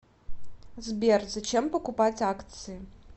сбер зачем покупать акции